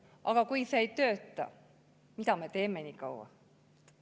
Aga kui see ei tööta, siis mida me niikaua teeme?